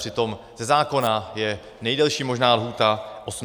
Přitom ze zákona je nejdelší možná lhůta 18 měsíců.